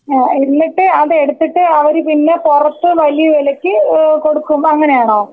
ഏഹ് എന്നിട്ട് അതെടുത്തിട്ട് അവര് പിന്നെ പുറത്ത് വലിയ വിലക്ക് ഏഹ് കൊടുക്കും അങ്ങനെ ആണോ?.